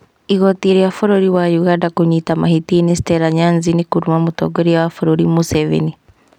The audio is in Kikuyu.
Igooti rĩa bũrũri wa Ũganda kũnyita mahĩtia-inĩ Stella Nyanzi nĩkũruma mũtongoria wa bũrũri Museveni